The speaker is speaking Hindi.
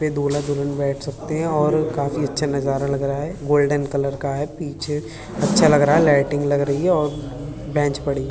पे दूल्हा दुल्हन बैठ सकते हैं और काफी अच्छा नज़ारा लग रहा है गोल्डन कलर का है पीछे अच्छा लग रहा है लाइटिंग लग रही है और बेंच पड़ी --